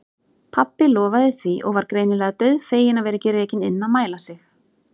Pabbi lofaði því og var greinilega dauðfeginn að vera ekki rekinn inn að mæla sig.